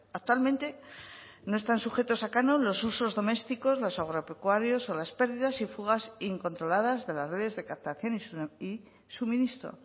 actualmente no están sujetos a canon los usos domésticos los agropecuarios o las pérdidas y fugas incontroladas de las redes de captación y suministro